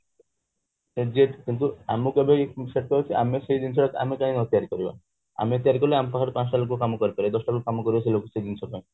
କିନ୍ତୁ ଆମକୁ ଏବେ ଆମକୁ କାଇଁ ଆମେ କାଇଁ ସେ ଜିନିଷ ଟା ଆମେ କାଇଁ ନ ତିଆରି କରିବା ଆମେ ତିଆରି କଲେ ଆମ ପାଖରେ ପଞ୍ଚଟା ଲୋକ କାମ କରିପାରିବେ ଦଶଟା ଲୋକ କାମ କରିବେ ସେ ଜିନିଷ ପାଇଁ